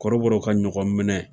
Kɔrɔbɔrɔ ka ɲɔgɔn minɛ